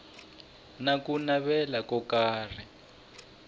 na ku navela ko karhi